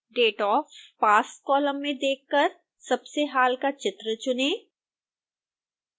date of pass column में देखकर सबसे हाल का चित्र चुनें